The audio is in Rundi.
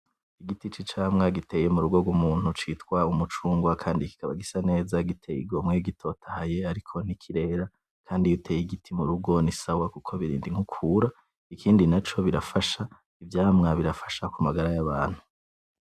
Igiti c'icamwa giteye murungo rw'umuntu citwa umucungwe kandi kikaba gisa neza giteye igomwe gitotahaye ariko ntikirera kandi iyo uteye igiti murungo nisawa kuko birindi inkukura ikindi naco ivyamwa birafasha kumugara y'abantu.